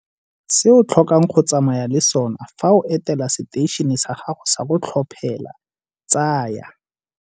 Se o tlhokang go tsamaya le sona fa o etela seteišene sa gago sa go tlhophela tsaya.